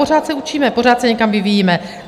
Pořád se učíme, pořád se někam vyvíjíme.